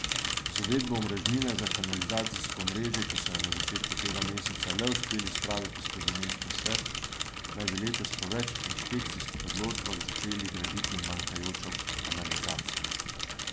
Z uvedbo omrežnine za kanalizacijsko omrežje, ki so jo na začetku tega meseca le uspeli spraviti skozi mestni svet, naj bi letos po več inšpekcijskih odločbah začeli graditi manjkajočo kanalizacijo.